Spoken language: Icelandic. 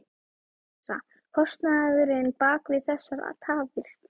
Rósa: Kostnaðurinn bak við þessar tafir?